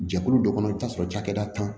Jɛkulu dɔ kɔnɔ i bɛ t'a sɔrɔ cakɛda tan